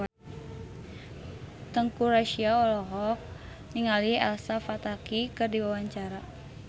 Teuku Rassya olohok ningali Elsa Pataky keur diwawancara